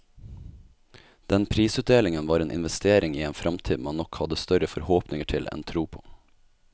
Den prisutdelingen var en investering i en fremtid man nok hadde større forhåpninger til enn tro på.